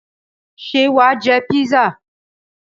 Ṣé wà á jẹ písà?